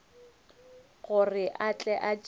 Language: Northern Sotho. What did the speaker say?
gore a tle a tšee